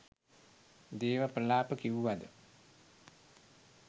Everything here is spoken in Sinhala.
දේව ප්‍රලාප කිව්වද